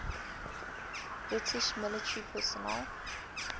british military personnel